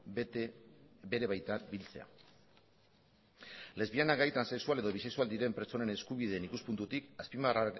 bete bere baitan biltzea lesbiana gay transexual edo bisexual diren pertsonen eskubideen ikuspuntutik